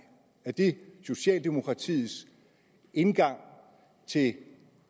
er det socialdemokratiets indgang til